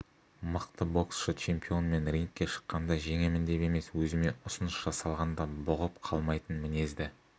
мықты боксшы чемпион мен рингке шыққанда жеңемін деп емес өзіме ұсыныс жасалғанда бұғып қалмайтын мінезді